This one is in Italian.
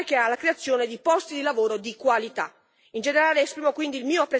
In generale esprimo quindi il mio apprezzamento per la relazione e il conseguente voto a favore.